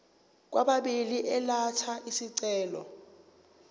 kwababili elatha isicelo